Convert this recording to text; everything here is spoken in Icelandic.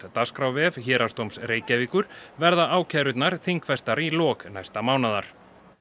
dagskrárvef Héraðsdóms Reykjavíkur verða ákærurnar þingfestar í lok næsta mánaðar